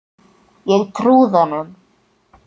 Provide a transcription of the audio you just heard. Ég trúði honum.